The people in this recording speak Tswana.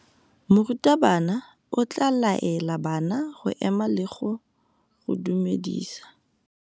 Morutabana o tla laela bana go ema le go go dumedisa.